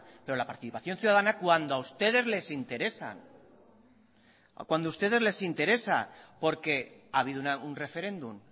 pero la participación ciudadana cuando a ustedes les interesa cuando a ustedes les interesa porque ha habido un referéndum